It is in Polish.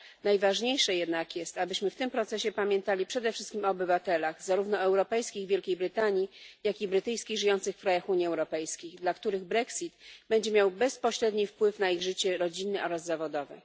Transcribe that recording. Najważniejsze jednak jest, abyśmy w tym procesie pamiętali przede wszystkim o obywatelach zarówno europejskich w Wielkiej Brytanii, jak i brytyjskich żyjących w krajach Unii Europejskiej, dla których Brexit będzie miał bezpośredni wpływ na ich życie rodzinne oraz zawodowe.